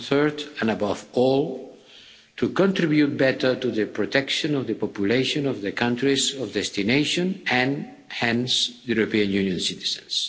and third, and above all, to contribute better to the protection of the population of the countries of destination and, hence, European Union citizens.